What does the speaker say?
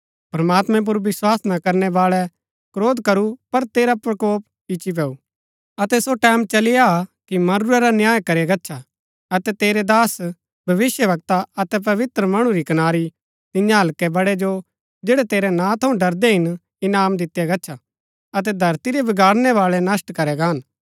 प्रमात्मैं पुर विस्वास ना करनै बाळै क्रोध करू पर तेरा प्रकोप इच्ची पैऊ अतै सो टैमं चली आ हा कि मरूरै रा न्याय करया गच्छा अतै तेरै दास भविष्‍यवक्ता अतै पवित्र मणु री कनारी तियां हल्के बड़ै जो जैड़ै तेरै नां थऊँ डरदै हिन इनाम दितिआ गच्छा अतै धरती रै बिगाड़णै बाळै नष्‍ट करै गान